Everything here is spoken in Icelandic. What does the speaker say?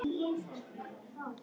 Það voru lóur.